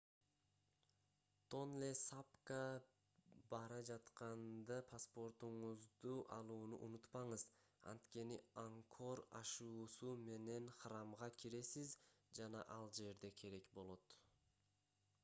тонле сапка бара жатканда паспортуңузду алууну унутпаңыз анткени ангкор ашуусу менен храмга киресиз жана ал жерде керек болот